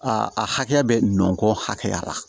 A a hakɛ bɛ nɔɔngɔn hakɛya la